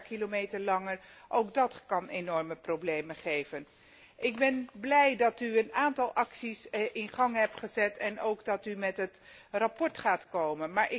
Ik ben blij dat u een aantal acties in gang hebt gezet en ook dat u met het rapport gaat komen.